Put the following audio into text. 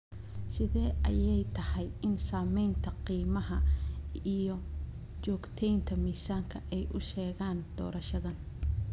Sidee ayay tahay in saamaynta qiimaha iyo joogteynta miisaanka ay u sheegaan doorashadan?